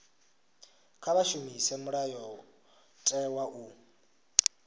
kha vha shumise mulayotewa u